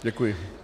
Děkuji.